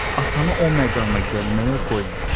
Atanı o məqama gəlməyə qoyma.